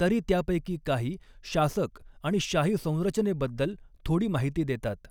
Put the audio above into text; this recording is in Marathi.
तरी त्यापैकी काही शासक आणि शाही संरचनेबद्दल थोडी माहिती देतात.